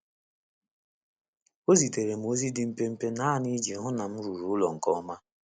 O zitere m ozi dị mpempe naanụ i ji hụ na m ruru ụlọ nke ọma